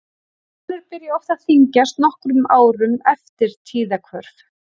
Konur byrja oft að þyngjast nokkrum árum fyrir tíðahvörf.